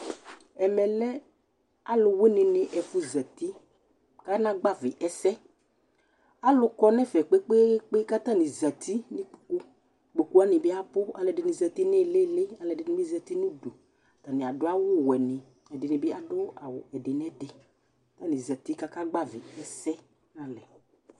Ɛmɛlɛ alʋwìní ni ɛfu zɛti kana gbavi ɛsɛ Alu kɔ ŋu ɛfɛ kpe kpe kpe kʋ ataŋi zɛti ŋu ikpoku Ikpoku waŋi bi abʋ Alʋɛdìní zɛti ŋu ìlí ìlí Alʋɛdìní bi zɛti ŋu ʋdu Ataŋi aɖu awu wɛ ni kʋ ɛɖìní bi aɖu awu ɛdi nɛɖi kʋ ataŋi zɛti kʋ aka gbavi ɛsɛ ŋu alɛ